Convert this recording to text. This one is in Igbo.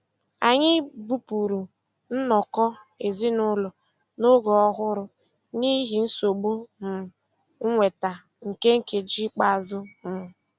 Anyị bupụrụ nnọkọ ezinụlọ n'ebe ọhụrụ n'ihi nsogbu um nnweta nke nkeji ikpeazụ. um